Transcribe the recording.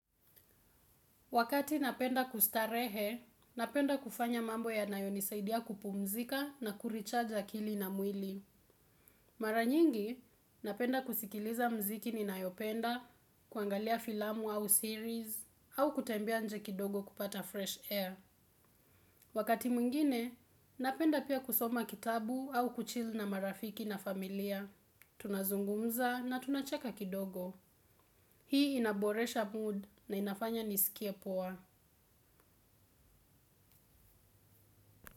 Wakati napenda kustarehe napenda kufanya mambo yanayo nisaidia kupumzika na kurecharge akili na mwili. Mara nyingi napenda kusikiliza mziki ninayopenda kuangalia filamu au series au kutembea nje kidogo kupata fresh air. Wakati mwingine napenda pia kusoma kitabu au kuchil na marafiki na familia. Tunazungumza na tunacheka kidogo. Hii inaboresha mood na inafanya niskie poa.